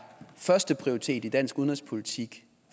førsteprioritet i dansk udenrigspolitik